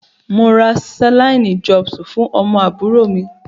Mo ra Saline drops fún ọmọ àbúrò mi.